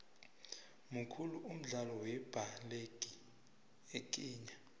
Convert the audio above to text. mukhulu umdlalo wembaleki ekhenya